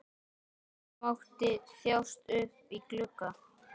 Gosi mátti þjást uppí glugga.